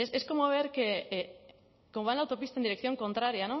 es como ver que cómo va en la autopista en dirección contraria